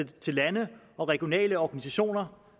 til lande og regionale organisationer